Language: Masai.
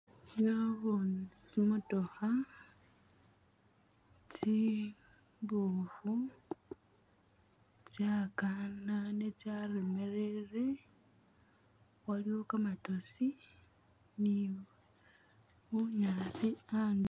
Naboone tsi motokha tsi mbofu tsakanane tsalemelele waliwo kamatosi ni bunyaasi andulo